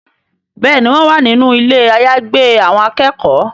Béèni wón wá nínú Ilé àyágbé àwọn akẹ́kọ̀ọ́.